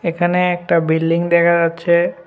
এখানে একটা বিল্ডিং দেখা যাচ্ছে।